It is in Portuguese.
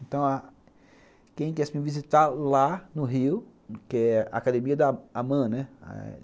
Então, quem quisesse me visitar lá no Rio, que é a Academia da Aman, né?